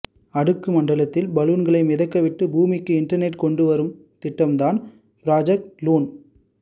அடுக்கு மண்டலத்தில் பலூன்களை மிதக்கவிட்டு பூமிக்கு இன்டெர்நெட் கொண்டு வரும் திட்டம் தான் ப்ராஜ்க்ட் லூன்